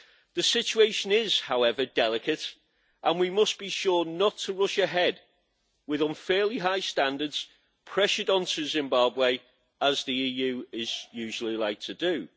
The situation is, however, delicate, and we must be sure not to rush ahead with unfairly high standards pressured onto Zimbabwe, as the EU usually likes to do.